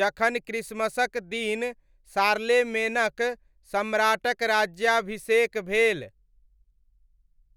जखन क्रिसमसक दिन शार्लेमेनक सम्राटक राज्याभिषेक भेल।